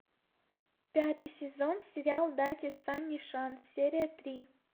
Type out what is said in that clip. пятый сезон сериал дайте санни шанс серия три